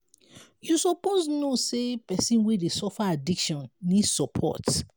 you suppose know sey pesin wey dey suffer addiction need support.